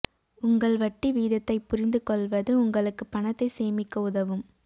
உங்கள் வட்டி வீதத்தைப் புரிந்து கொள்வது உங்களுக்கு பணத்தை சேமிக்க உதவும்